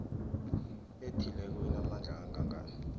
ethileko inamandla angangani